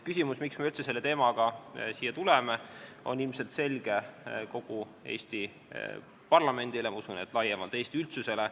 Küsimus, miks me üldse selle teemaga siia tuleme, on ilmselt selge kogu Eesti parlamendile, ma usun, et laiemalt ka Eesti üldsusele.